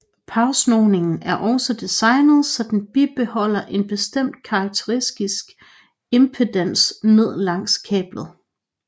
Parsnoningen er også designet så den bibeholder en bestemt karakteristisk impedans ned langs kablet